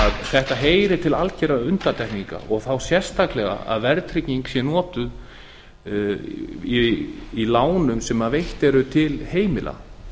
þetta heyrir til algerra undantekninga og þá sérstaklega að verðtrygging sé notuð í lánum sem veitt eru til heimila